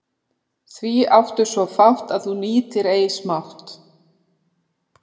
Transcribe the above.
Því áttu svo fátt að þú nýtir ei smátt.